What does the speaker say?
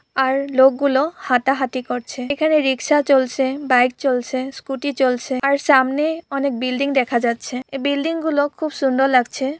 আরলোক গুলো হাঁটাহাটি করছেএখানে রিকশা চলছেবাইক চলছেস্কুটি চলছেআর সামনেঅনেক বিল্ডিং দেখা যাচ্ছেএ বিল্ডিং গুলো খুব সুন্দর লাগছে।